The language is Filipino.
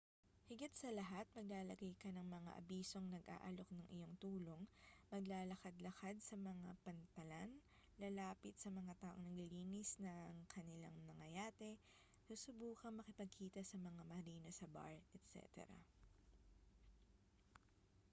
higit sa lahat maglalagay ka ng mga abisong nag-aalok ng iyong tulong maglalakad-lakad sa mga pantalan lalapit sa mga taong naglilinis ng kanilang mga yate susubukang makipagkita sa mga marino sa bar etc